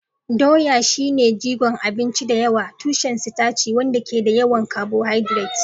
Doya shine jigon abinci da yawa, tushen sitaci wanda ke da yawan carbohydrates.